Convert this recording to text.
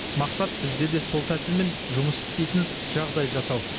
мақсат бізде де сол тәсілмен жұмыс істейтін жағдай жасау